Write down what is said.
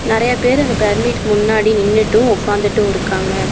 நெறைய பேர் அந்த பெர்மிட்கு முன்னாடி நின்னுட்டு உக்காந்துட்டு இருகாங்க.